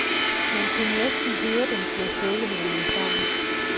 Man kunne næsten høre dem slå støvlehælene sammen.